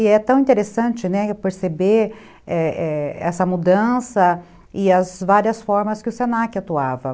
E é tão interessante, né, perceber essa mudança e as várias formas que o se na que atuava.